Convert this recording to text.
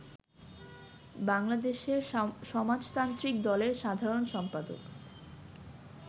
বাংলাদেশের সমাজতান্ত্রিক দলের সাধারণ সম্পাদক